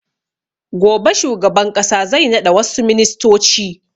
Gobe shugaban ƙasa zai naɗa wassu ministoci